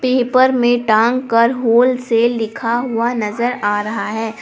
Paper में तंग कर होलसेल लिखा हुआ नजर आ रहा है।